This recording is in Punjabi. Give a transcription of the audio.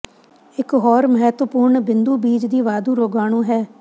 ਇੱਕ ਹੋਰ ਮਹੱਤਵਪੂਰਨ ਬਿੰਦੂ ਬੀਜ ਦੀ ਵਾਧੂ ਰੋਗਾਣੂ ਹੈ